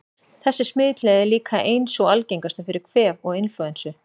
Þessi smitleið er líka ein sú algengasta fyrir kvef og inflúensu.